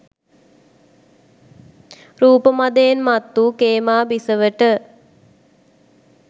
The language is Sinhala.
රූප මදයෙන් මත් වූ ඛේමා බිසවට